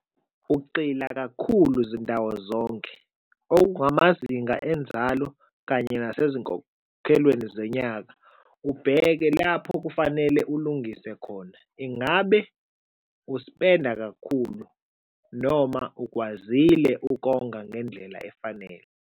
Ugxila kakhulu zindawo zonke okungamazinga enzalo kanye nasezinkokholweni zonyaka, ubheke lapho kufanele ulungise khona. Ingabe uspenda kakhulu noma ukwazile ukonga ngendlela efanele?